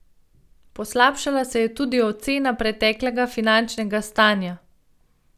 Poslabšala se je tudi ocena preteklega finančnega stanja.